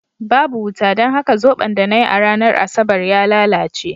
Babu wuta, don haka zoɓon da na yi a ranar Asabar ya lalace.